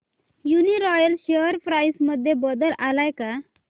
Uniroyal share price मध्ये बदल आलाय का